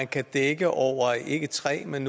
kan dække over ikke tre men